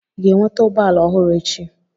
Ị ga-enweta ụgbọ ala ọhụrụ echi?